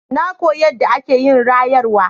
Na koyi yadda ake yin rayarwa.